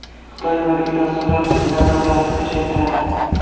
Xitoy mobil dasturlar ustidan nazoratni kuchaytiradi.